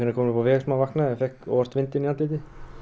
kominn upp á veg sem hann vaknaði þá fékk hann óvart vindinn í andlitið